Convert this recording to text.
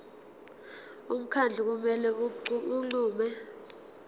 umkhandlu kumele unqume